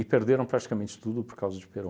perderam praticamente tudo por causa de Perón.